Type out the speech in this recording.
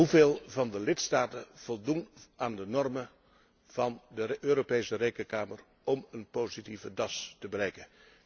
Hoeveel lidstaten voldoen aan de normen van de Europese Rekenkamer om een positieve DAS te bereiken?